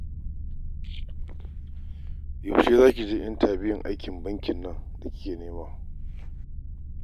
Yaushe za ki je intabiyun aikin bankin nan da kika nema?